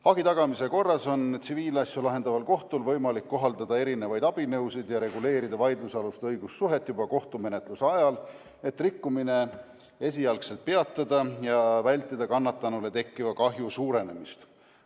Hagi tagamise korras on tsiviilasju lahendaval kohtul võimalik kohaldada erisuguseid abinõusid ja reguleerida vaidlusalust õigussuhet juba kohtumenetluse ajal, et rikkumine peatada ja vältida kannatanule tekkiva kahju suurenemist.